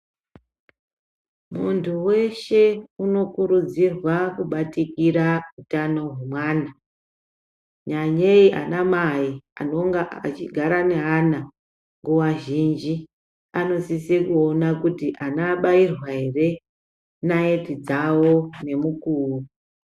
Munthu weshe unokurudzirwa kubatikira utano hwemwana, nyanyei ana mai anonga achigara neana nguwa zhinji anosisa kuona kuti ana abairwa ere naiti dzao ngemukuo.